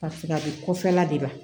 Ka fara bi kɔfɛla de la